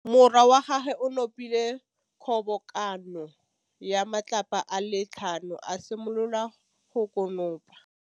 Morwa wa gagwe o nopile kgobokanô ya matlapa a le tlhano, a simolola go konopa.